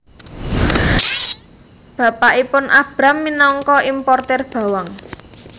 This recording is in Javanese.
Bapakipun Abram minangka importir bawang